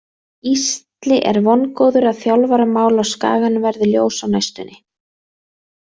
Gísli er vongóður að þjálfaramál á Skaganum verði ljós á næstunni.